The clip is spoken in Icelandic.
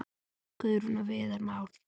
Guðrún og Viðar Már.